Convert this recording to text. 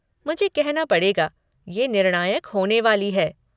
मुझे कहना पड़ेगा कि ये निर्णायक होने वाली है।